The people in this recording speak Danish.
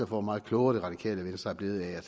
hvor meget klogere det radikale venstre er blevet af at